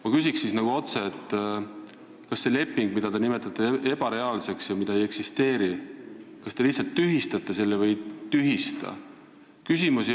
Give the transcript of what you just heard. Ma küsin otse: kas te selle lepingu, mida te nimetate ebareaalseks ja mitteeksisteerivaks, tühistate või ei tühista?